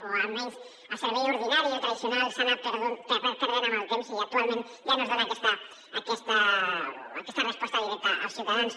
o almenys el servei ordinari el tradicional s’ha anat perdent en el temps i actualment ja no es dona aquesta resposta directa als ciutadans